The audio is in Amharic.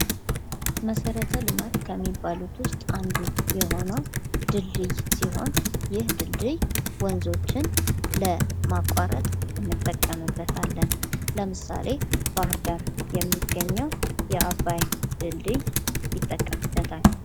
መሰረተ ልማት ከሚባሉት ውስጥ አንዱ የሆነው ድልድይ ሲሆን ይህ ድልድይ ወንዞችን ለማቋረጥ አመጠቀምበታለን ለምሳሌ ባህር ዳር የሚገኘው የአባይ ድልድል ይጠቀስበታል።